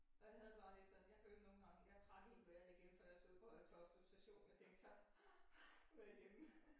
Og jeg havde det bare lidt sådan jeg følte nogle gange jeg trak ikke vejret igen før jeg stod ud på Høje Taastrup Station og tænkte så nu jeg hjemme